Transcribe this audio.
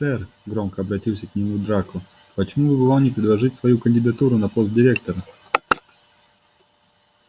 сэр громко обратился к нему драко почему бы вам не предложить свою кандидатуру на пост директора